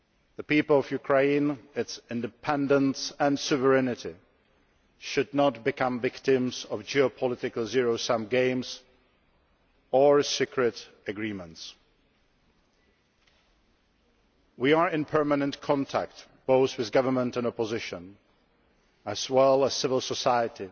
The people of Ukraine, its independence and sovereignty should not become victims of geopolitical zero sum games or secret agreements. We are in permanent contact both with government and opposition, as well as civil society